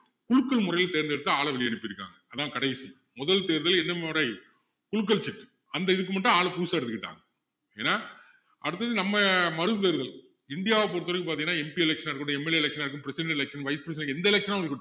குலுக்கள் முறையில தேர்ந்தெடுத்து ஆளை வெளிய அனுப்பிருக்காங்க அதான் கடைசி முதல் தேர்தல் என்ன முறை குலுக்கல் seat அந்த இதுக்கு மட்டும் ஆல் புதுசா எடுத்துகிட்டாங்க ஏன்னா அடுத்தது நம்ம மறு தேர்தல் இந்தியாவை பொறுத்த வரைக்கும் பாத்திங்கன்னா MP election ஆ இருக்கட்டும் MLA election ஆ இருக்கட்டும் president election vice president election எந்த election ஆவும் இருக்கட்டும்